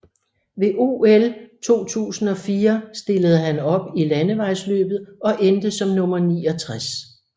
Ved OL 2004 stillede han op i landevejsløbet og endte som nummer 69